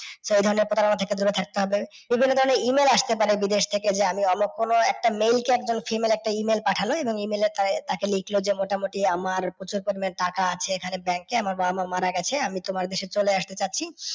So এই ধরণের প্রতারনা থেকে দূরে থাকতে হবে। যে কোনও ধরণের E mail আসতে পারে বিদেশ থেকে যে আমি অনন্য কোনও একজন male কে একজন female একটা E mail পাঠাল। এবং E mail এ তাঁকে লিখল যে মোটামুটি আমার প্রচুর পরিমাণে টাকা আছে এখানে ব্যাঙ্কে। আমার বাবা মাআ মারা গেছে আমি তোমার দেশে চলে আসতে চাচ্ছি